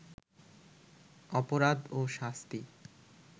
অপরাধ ও শাস্তি